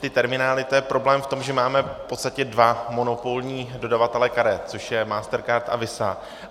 Ty terminály, to je problém v tom, že máme v podstatě dva monopolní dodavatele karet, což je MasterCard a Visa.